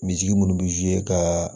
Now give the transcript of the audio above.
Misi munnu be ka